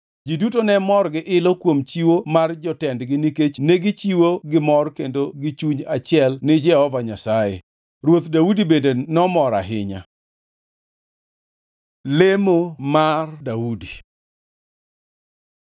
Ji duto ne mor gi ilo kuom chiwo mar jotendgi nikech negichiwo gi mor kendo gi chuny achiel ni Jehova Nyasaye. Ruoth Daudi bende nomor ahinya. Lemo mar Daudi